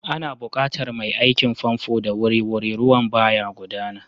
Ana buƙatar mai aikin famfo da wuri-wuri, ruwan ba ya gudana.